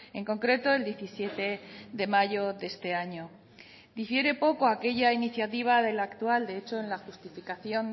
en concreto el diecisiete de mayo de este año difiere poco aquella iniciativa de la actual de hecho en la justificación